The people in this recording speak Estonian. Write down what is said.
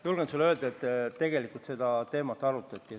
Julgen sulle öelda, et seda teemat arutati.